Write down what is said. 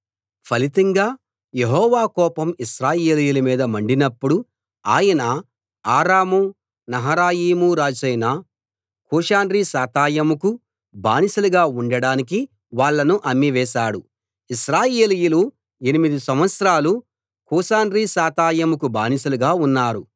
ఫలితంగా యెహోవా కోపం ఇశ్రాయేలీయుల మీద మండినప్పుడు ఆయన ఆరాము నహరాయిము రాజైన కూషన్రిషాతాయిము కు బానిసలుగా ఉండడానికి వాళ్ళను అమ్మి వేశాడు ఇశ్రాయేలీయులు ఎనిమిది సంవత్సరాలు కూషన్రిషాతాయిముకు బానిసలుగా ఉన్నారు